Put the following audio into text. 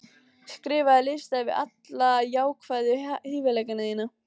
Skrifaðu lista yfir alla jákvæðu hæfileikana þína.